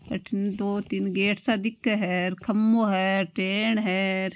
अठीने दो तीन गेट सा दिखे है र खम्बो है र टेन है र।